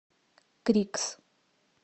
крикс